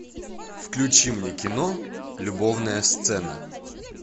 включи мне кино любовная сцена